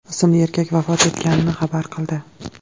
ismli erkak vafot etganini xabar qildi .